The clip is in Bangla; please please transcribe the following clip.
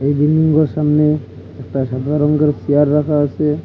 এই বিল্ডিংগুলোর সামনে একটা সাদা রঙ্গের চেয়ার রাখা আসে।